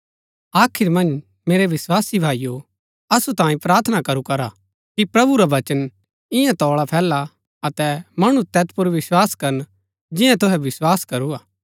आखिर मन्ज मेरै विस्वासी भाईओ असु तांई प्रार्थना करु करा कि प्रभु रा वचन ईयां तोळा फैला अतै मणु तैत पुर विस्वास करन जिन्या तुहै विस्वास करू हा